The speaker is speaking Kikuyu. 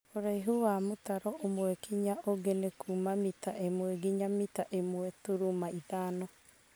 ũraihu wa kuma mũtaro ũmwe nginya ũngi ni kuuma mita ĩmwe nginya mita ĩmwe turuma ithano.`